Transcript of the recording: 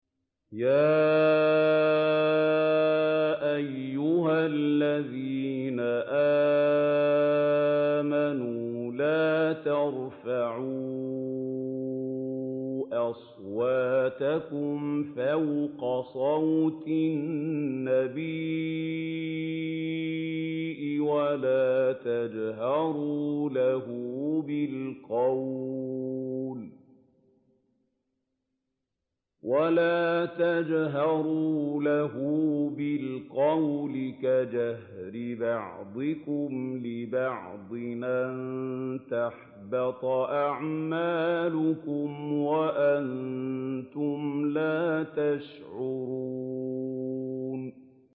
يَا أَيُّهَا الَّذِينَ آمَنُوا لَا تَرْفَعُوا أَصْوَاتَكُمْ فَوْقَ صَوْتِ النَّبِيِّ وَلَا تَجْهَرُوا لَهُ بِالْقَوْلِ كَجَهْرِ بَعْضِكُمْ لِبَعْضٍ أَن تَحْبَطَ أَعْمَالُكُمْ وَأَنتُمْ لَا تَشْعُرُونَ